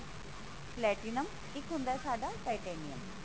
platinum ਇੱਕ ਹੁੰਦਾ ਸਾਡਾ titanium